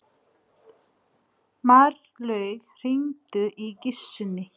Marlaug, hringdu í Gissunni.